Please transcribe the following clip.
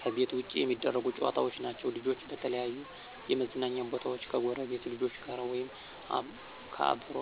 ከቤት ውጭ የሚደረጉ ጨዋታዎች ናቸዉ። ልጆች በተለያዩ የመዝናኛ ቦታወች ከጎረቤት ልጆች ጋር ወይም ከአብሮ